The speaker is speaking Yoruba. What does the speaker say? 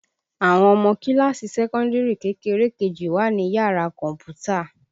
Àwọn ọmọ kíláàsì sẹ́kọ́ndìrì kékeré kejì wà ní yàrá kọ̀m̀pútà